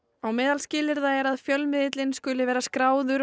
á meðal skilyrða er að fjölmiðill skuli vera skráður